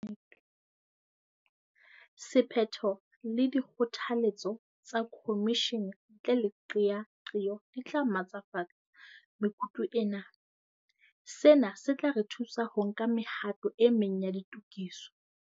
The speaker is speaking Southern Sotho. Sephetho le dikgotha letso tsa khomishene ntle le qeaqeo di tla matlafatsa mekutu ena. Sena se tla re thusa ho nka mehato e meng ya ditokiso.